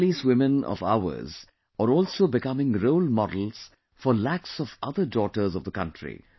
These policewomen of ours are also becoming role models for lakhs of other daughters of the country